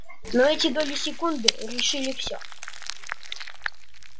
но эти доли секунды решили всё